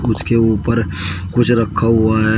उसके ऊपर कुछ रखा हुआ है।